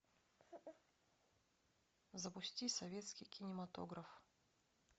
запусти советский кинематограф